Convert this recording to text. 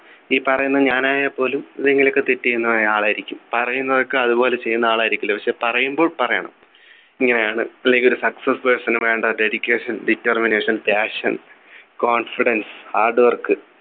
ഈ പറയുന്ന ഞാനായപോലും എന്തെങ്കിലുമൊക്കെ തെറ്റ് ചെയ്യുന്നയ ആൾ ആയിരിക്കും പറയുന്നതൊക്കെ അതുപോലെ ചെയ്യുന്ന ആളായിരിക്കില്ല പക്ഷേ പറയുമ്പോൾ പറയണം ഇങ്ങനെയാണ് അല്ലെങ്കിൽ ഒരു success person നു വേണ്ട Dedication determination passion confidence Hard work